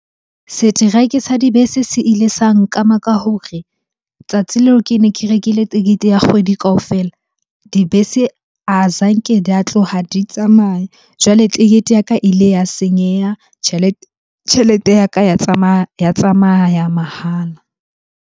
Seteraeke sa dibese se ile sa nkama ka hore tsatsi leo ke ne ke rekile tekete ya kgwedi kaofela, dibese azanke di a tloha di tsamaya. Jwale ticket ya ka ile ya senyeha tjhelete ya ka ya tsamaya mahala.